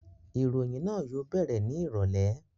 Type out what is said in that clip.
Ìròyìn náà yóò bẹ̀rẹ̀ ní ìrọ̀lẹ́